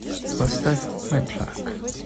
поставь мэтлак